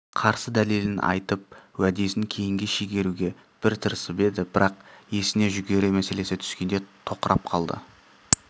қарсы дәлелін айтып уәдесін кейінге шегеруге бір тырысып еді бірақ есіне жүгері мәселесі түскенде тоқырап қалды